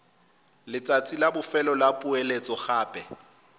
letsatsi la bofelo la poeletsogape